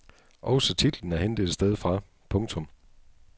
Også titlen er hentet et sted fra. punktum